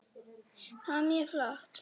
Það var mjög flott.